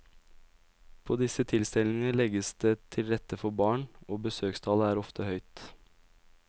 På disse tilstelningene legges det til rette for barn, og besøkstallet er ofte høyt.